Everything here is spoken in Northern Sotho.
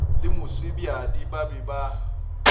le mosebjadi ba be ba